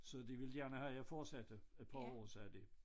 Så de ville gerne have jeg fortsatte et par år sagde de